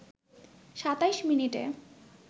২৭ মিনিটে